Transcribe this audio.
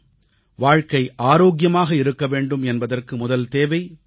வாழ்க்கை ஆரோக்கியமாக இருக்க வேண்டும் என்பதற்கு முதல் தேவை தூய்மை